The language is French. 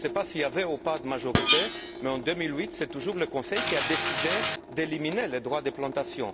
Je ne sais pas s'il y avait ou pas de majorité, mais en 2008, c'est toujours le Conseil qui a décidé d'éliminer les droits de plantation.